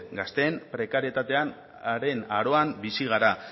gazteen prekarietatearen aroan bizi gara